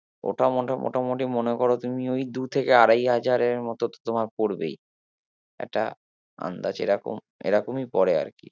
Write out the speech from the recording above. ওটা মোটা মোটামুটি মনে করো তুমি ওই দু থেকে আড়াই হাজারের মতো তো তোমার পড়বেই একটা আন্দাজ এরকম এরকমই পরে আর কি